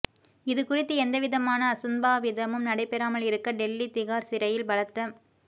இது குறித்து எந்தவிதமான அசம்பாவிதமும் நடைபெறாமல் இருக்க டெல்லி திகார் சிறையில் பலத்த